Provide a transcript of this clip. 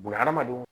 Bunahadamadenw